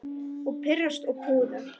Og pirrast og puða.